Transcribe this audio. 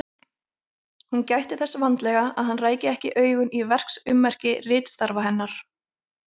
Hún gætti þess vandlega að hann ræki ekki augun í verksummerki ritstarfa hennar.